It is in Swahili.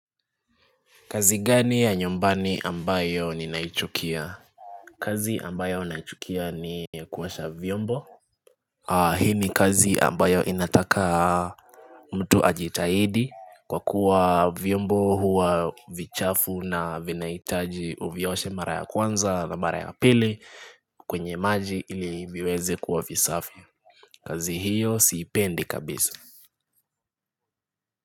Kazi gani ya nyumbani ambayo ninaichukia? Kazi ambayo naichukia ni kuosha vyombo. Hii ni kazi ambayo inataka mtu ajitahidi kwa kuwa vyombo huwa vichafu na vinahitaji uvioshe mara ya kwanza na mara ya pili kwenye maji ili viweze kuwa visafi. Kazi hiyo siipendi kabisa.